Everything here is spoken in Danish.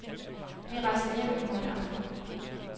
Vi rejser hjem i morgen aften.